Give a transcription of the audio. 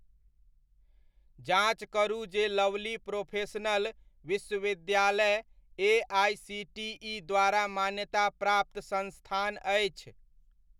जाँच करू जे लवली प्रोफेशनल विश्वविद्यालय एआइसीटीइ द्वारा मान्यताप्राप्त संस्थान अछि ?